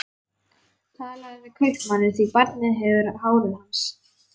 Talaðu við kaupmanninn, því barnið hefur hárið hans.